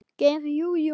Geir Jú, jú.